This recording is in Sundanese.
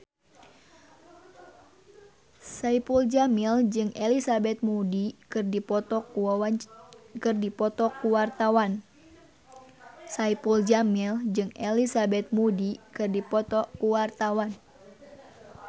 Saipul Jamil jeung Elizabeth Moody keur dipoto ku wartawan